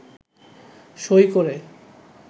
সই করে